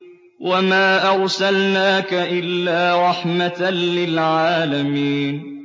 وَمَا أَرْسَلْنَاكَ إِلَّا رَحْمَةً لِّلْعَالَمِينَ